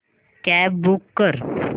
cab book कर